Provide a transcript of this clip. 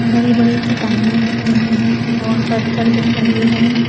बड़ी बड़ी चट्टानें दिख रही हैं और पत्थर दिख रहे हैं।